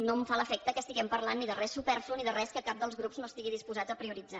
no em fa l’efecte que estiguem parlant ni de res superflu ni de res que cap dels grups no estigui disposat a prioritzar